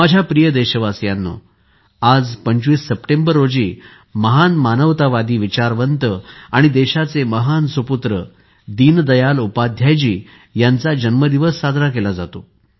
माझ्या प्रिय देशवासियांनो आज 25 सप्टेंबर रोजी महान मानवतावादी विचारवंत आणि देशाचे महान सुपुत्र दीनदयाल उपाध्यायजी यांचा जन्मदिवस साजरा केला जातो